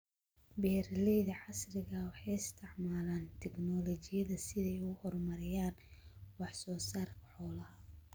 Beeralayda casriga ah waxay isticmaalaan tignoolajiyada si ay u horumariyaan wax soo saarka xoolaha.